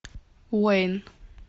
уэйн